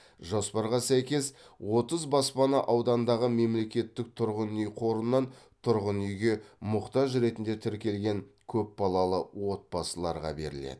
жоспарға сәйкес отыз баспана аудандағы мемлекеттік тұрғын үй қорынан тұрғын үйге мұқтаж ретінде тіркелген көпбалалы отбасыларға беріледі